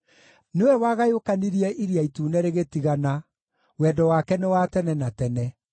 nĩwe wagayũkanirie Iria Itune rĩgĩtigana, Wendo wake nĩ wa tene na tene.